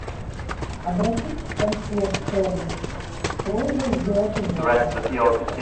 обратись в консьерж сервис с просьбой сделать уборку